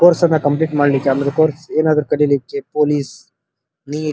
course ಅನ್ನು complete ಮಾಡ್ಲಿಕ್ಕೆ ಅಂದ್ರೆ ಕೋರ್ಸ್ ಏನಾದ್ರು ಕಲೀಲಿಕ್ಕೆ ಪೊಲೀಸ್ ನೀಟ್ --